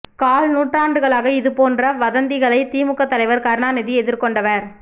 கால் நூற்றாண்டுகளாக இது போன்ற வதந்திகளை திமுக தலைவர் கருணாநிதி எதிர்கொண்டவர்